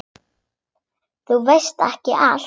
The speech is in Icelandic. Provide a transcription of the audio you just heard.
Þú veist ekki allt.